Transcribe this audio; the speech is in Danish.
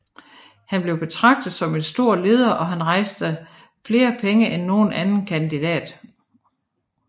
Han blev betraget som en stor leder og han rejste flere penge end nogen anden kandidat